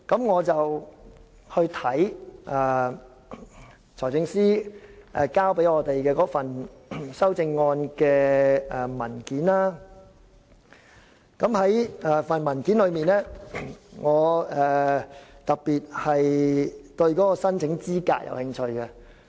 我參閱財政司司長交給我們的修正案文件，在文件中，我特別對申請資格有興趣。